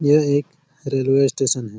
ये एक railway station है ।